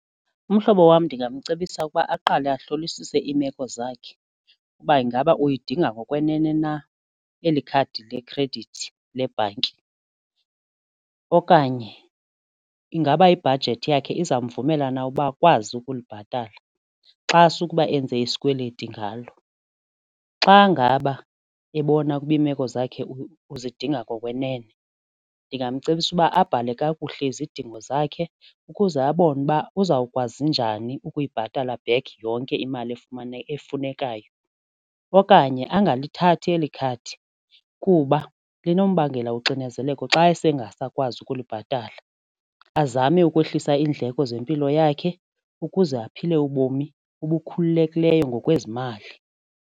Umhlobo wam ndingamcebisa ukuba aqale uhlolisise iimeko zakhe uba ingaba uyidinga ngokwenene na eli khadi lekhredithi lebhanki okanye ingaba ibhajethi yakhe izamvumela na ukuba ukwazi ukulibhatala xa sukuba enze isikweleti ngalo. Xa ngaba ebona ukuba iimeko zakhe uzidinga ngokwenene ndingamcebisa uba abhale kakuhle izidingo zakhe ukuze abone uba uzawukwazi njani ukuyibhatala back yonke imali efunekayo. Okanye angalithathi eli khadi kuba linombangela uxinezeleko xa esengasakwazi ukulibhatala. Azame ukwehlisa iindleko zempilo yakhe ukuze aphile ubomi obukhululekileyo ngokwezimali.